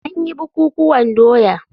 An yi bukukuwan doya.